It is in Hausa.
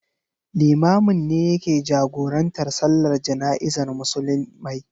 Limamin ne yake jagorantar Sallar Jana'izar Musulmai.